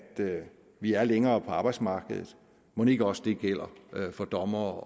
vi er længere på arbejdsmarkedet mon ikke også at det gælder for dommere